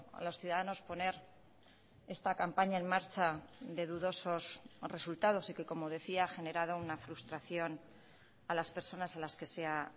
a los ciudadanos poner esta campaña en marcha de dudosos resultados y que como decía ha generado una frustración a las personas a las que se ha